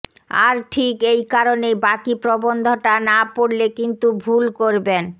আর ঠিক এই কারণেই বাকি প্রবন্ধটা না পড়লে কিন্তু ভুল করবেন